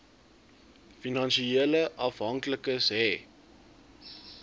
finansiële afhanklikes hê